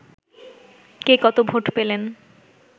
কে কত ভোট পেলেন